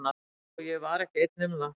Og ég var ekki einn um það.